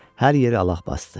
Hər yeri allax basdı.